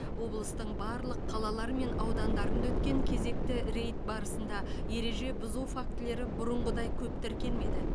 облыстың барлық қалалары мен аудандарында өткен кезекті рейд барысында ереже бұзу фактілері бұрынғыдай көп тіркелмеді